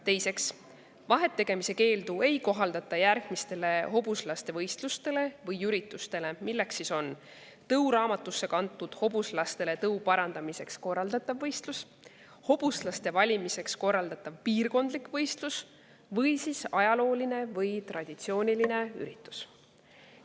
Teiseks, vahet tegemise keeldu ei kohaldata järgmistele hobuslaste võistlustele või üritustele: tõuraamatusse kantud hobuslastele tõu parandamiseks korraldatav võistlus, hobuslaste valimiseks korraldatav piirkondlik võistlus ning ajalooline või traditsiooniline üritus.